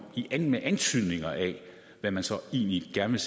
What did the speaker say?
med bare antydninger af hvad man så egentlig gerne